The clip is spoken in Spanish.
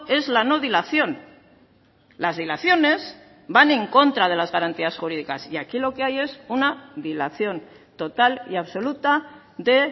es la no dilación las dilaciones van en contra de las garantías jurídicas y aquí lo que hay es una dilación total y absoluta de